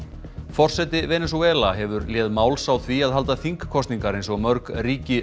forseti Venesúela hefur léð máls á því að halda þingkosningar eins og mörg ríki